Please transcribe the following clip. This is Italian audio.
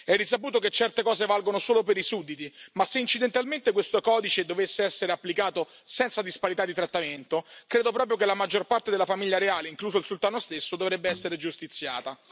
È risaputo che certe cose valgono solo per i sudditi, ma se incidentalmente questo codice dovesse essere applicato senza disparità di trattamento, credo proprio che la maggior parte della famiglia reale, incluso il sultano stesso, dovrebbe essere giustiziata.